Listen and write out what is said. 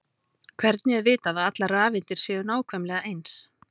hvernig er vitað að allar rafeindir séu nákvæmlega eins